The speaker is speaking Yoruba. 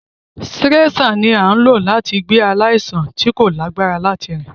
Sireṣạ ni a n lo lati gbe alaisan ti ko lagbara lati rin.